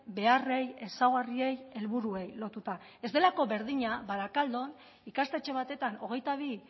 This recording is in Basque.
beharrei ezaugarriei helburuei lotuta ez delako berdina barakaldon ikastetxe batetan hogeita bi